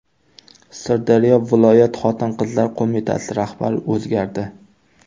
Sirdaryo viloyat xotin-qizlar qo‘mitasi rahbari o‘zgardi.